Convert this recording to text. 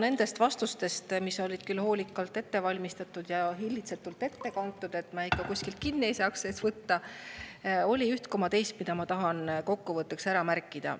Nendes vastustes, mis olid küll hoolikalt ette valmistatud ja hillitsetult ette kantud, et me ikka kuskilt kinni ei saaks võtta, oli üht koma teist, mida ma tahan kokkuvõtteks ära märkida.